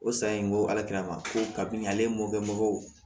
O san in ko ma ko ka bin ale mɔkɛ mɔgɔw